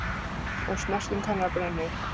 Og snerting hennar brennir.